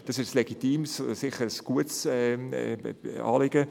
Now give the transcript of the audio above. Das ist ein legitimes und sicher gutes Anliegen.